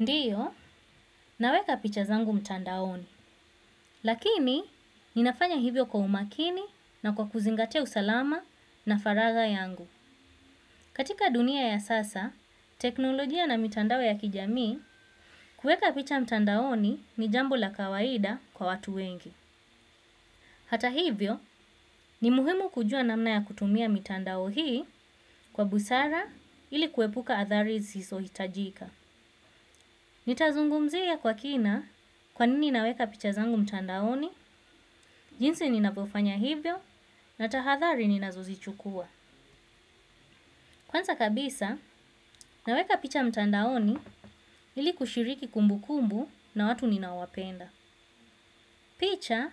Ndiyo, naweka picha zangu mtandaoni. Lakini, ninafanya hivyo kwa umakini na kwa kuzingatia usalama na faraga yangu. Katika dunia ya sasa teknolojia na mitandao ya kijamii, kueka picha mtandaoni ni jambo la kawaida kwa watu wengi. Hata hivyo, ni muhimu kujua namna ya kutumia mitandao hii kwa busara ili kuepuka athari zisizo hitajika. Ni tazungumzia kwa kina kwa nini naweka picha zangu mtandaoni, jinsi ninavofanya hivyo na tahadhari ninazozichukua. Kwanza kabisa, naweka picha mtandaoni ili kushiriki kumbu kumbu na watu ninaowapenda. Picha,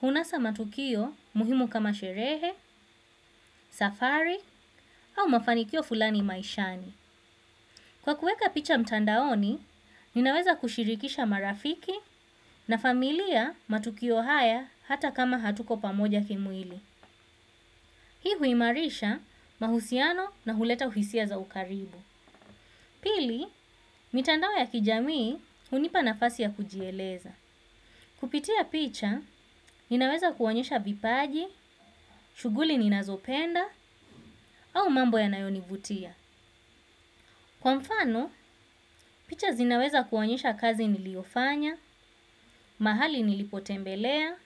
hunasa matukio muhimu kama sherehe, safari au mafanikio fulani maishani. Kwa kueka picha mtandaoni, ninaweza kushirikisha marafiki na familia matukio haya hata kama hatuko pamoja kimwili. Hii huimarisha mahusiano na huleta uhisia za ukaribu. Pili, mitandao ya kijamii hunipa nafasi ya kujieleza. Kupitia picha, ninaweza kuonyesha vipaji, shughuli ninazopenda au mambo yanayonivutia. Kwa mfano, picha zinaweza kuonyesha kazi niliofanya, mahali nilipotembelea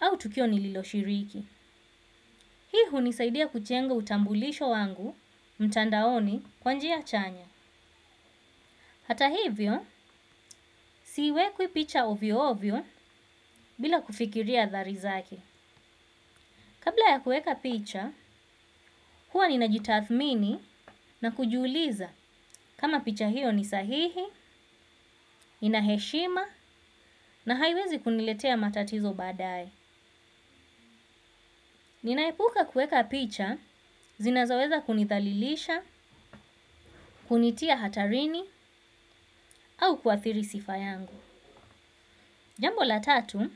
au tukio nililoshiriki. Hii hunisaidia kujenga utambulisho wangu mtandaoni, kwa njia chanya. Hata hivyo, siweki picha ovyo ovyo bila kufikiria athari zake. Kabla ya kueka picha, huwa ninajitathmini na kujiuliza kama picha hiyo nisahihi, inaheshima na haiwezi kuniletea matatizo baadae. Ninaepuka kueka picha, zinazoweza kunithalilisha, kunitia hatarini au kuathiri sifa yangu. Jambo la tatu,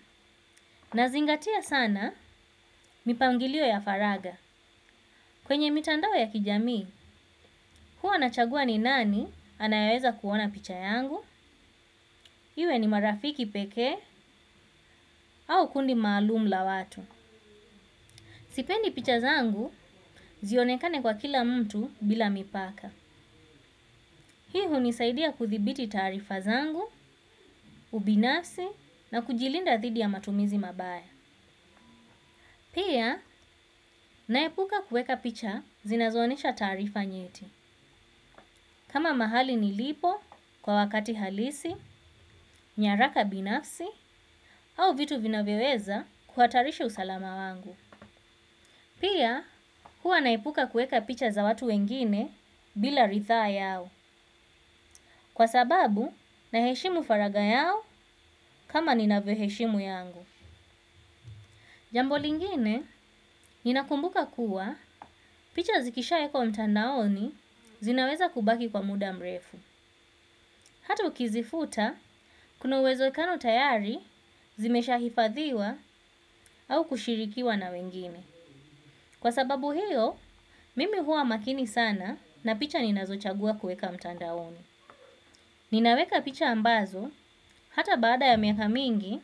nazingatia sana mipangilio ya faraga. Kwenye mitandao ya kijamii, huwa nachagua ni nani anayeweza kuona picha yangu, iwe ni marafiki pekee au kundi maalum la watu. Sipendi picha zangu zionekane kwa kila mtu bila mipaka hii hunisaidia kudhibiti taariza zangu, ubinafsi na kujilinda dhidi ya matumizi mabaya. Pia, naepuka kueka picha zinazo onyesha taarifa nyeti. Kama mahali nilipo kwa wakati halisi, nyaraka binafsi au vitu vinavyoweza kuhatarisha usalama wangu. Pia, hua naepuka kueka picha za watu wengine bila rithaa yao. Kwa sababu, naheshimu faraga yao kama ninavyo heshimu yangu. Jambo lingine, ninakumbuka kuwa picha zikishaekwa mtandaoni zinaweza kubaki kwa muda mrefu. Hata ukizifuta kuna uwezekano tayari zimesha hifadhiwa au kushirikiwa na wengine. Kwa sababu hiyo, mimi huwa makini sana na picha ninazo chagua kueka mtandaoni. Ninaweka picha ambazo, hata baada ya miaka mingi,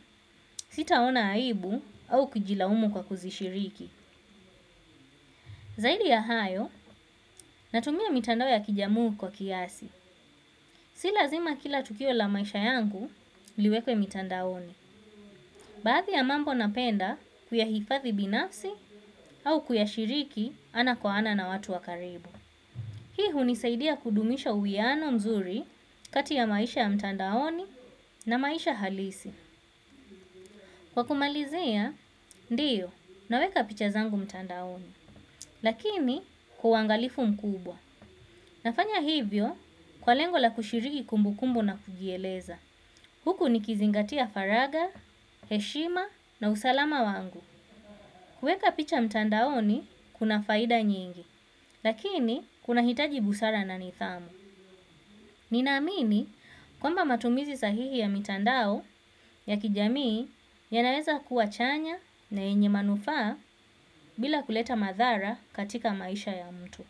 sitaona aibu au kujilaumu kwa kuzishiriki. Zaidi ya hayo natumia mitandao ya kijamii kwa kiasi. Si lazima kila tukio la maisha yangu liwekwe mitandaoni. Baadhi ya mambo napenda kuyahifadhi binafsi au kuyashiriki ana kwa ana na watu wa karibu. Hii hunisaidia kudumisha uwiano mzuri kati ya maisha ya mtandaoni na maisha halisi. Kwa kumalizia, ndiyo, naweka picha zangu mtandaoni. Lakini kwa uangalifu mkubwa. Nafanya hivyo kwa lengo la kushiriki kumbu kumbu na kujieleza. Huku nikizingatia faraga, heshima na usalama wangu. Kueka picha mtandaoni kuna faida nyingi, lakini kuna hitaji busara na nidhamu. Nina amini kwamba matumizi sahihi ya mitandao ya kijamii yanaweza kuwa chanya na yenye manufaa bila kuleta madhara katika maisha ya mtu.